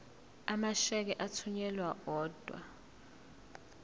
amasheke athunyelwa odwa